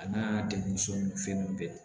A n'a degun so ninnu fɛn ninnu bɛɛ